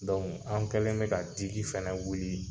an kɛlen bɛ ka digi fɛnɛ wuli